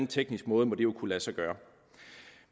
teknisk måde må det jo kunne lade sig gøre